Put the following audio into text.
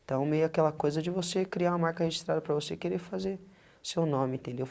Então, meio aquela coisa de você criar uma marca registrada para você querer fazer seu nome, entendeu?